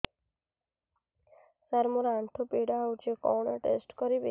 ସାର ମୋର ଆଣ୍ଠୁ ପୀଡା ହଉଚି କଣ ଟେଷ୍ଟ କରିବି